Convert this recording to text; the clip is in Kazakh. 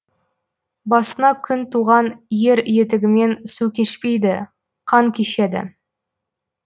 басына күн туған ер етігімен су кешпейді қан кешеді